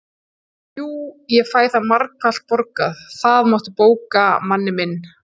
Jú, ég fæ það margfalt borgað, það máttu bóka, manni minn